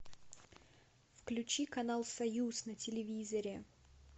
включи канал союз на телевизоре